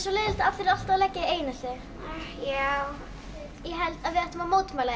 leiðinlegt að allir eru alltaf að leggja þig í einelti já ég held við ættum að mótmæla